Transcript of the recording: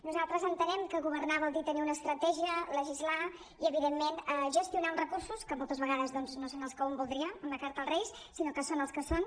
nosaltres entenem que governar vol dir tenir una estratègia legislar i evident·ment gestionar uns recursos que moltes vegades doncs no són els que un voldria una carta als reis sinó que són els que són